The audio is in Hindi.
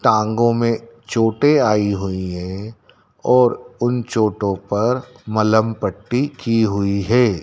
टांगों में चोटे आयी हुई है और उन चोटों पर मलहम पट्टी की हुई है।